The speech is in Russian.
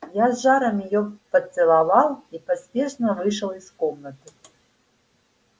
я с жаром её поцеловал и поспешно вышел из комнаты